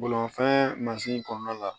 Bolimafɛn mansin kɔnɔna la